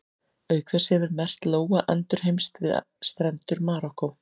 Auk þess hefur merkt lóa endurheimst við strendur Marokkó.